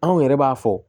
Anw yɛrɛ b'a fɔ